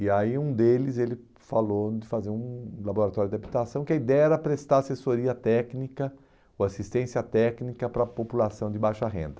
E aí um deles ele falou de fazer um laboratório de habitação, que a ideia era prestar assessoria técnica ou assistência técnica para a população de baixa renda.